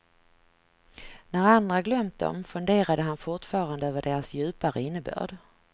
När andra glömt dem funderade han fortfarande över deras djupare innebörd.